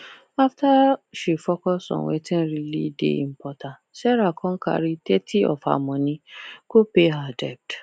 after she focus on wetin really dey important sarah con carry thirty of her money go pay her debt